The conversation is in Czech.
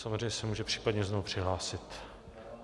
Samozřejmě se může případně znovu přihlásit.